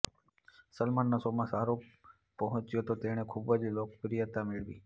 સલમાનના શોમાં શાહરુખ પહોંચ્યો તો તેણે ખૂબ જ લોકપ્રિયતા મેળવી